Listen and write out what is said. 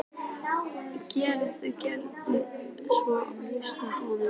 Gerður, Gerður söng í hausnum á honum.